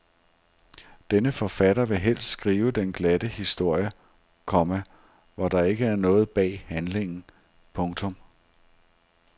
Denne forfatter vil helst skrive den glatte historie, komma hvor der ikke er noget bag handlingen. punktum